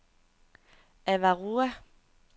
Avarua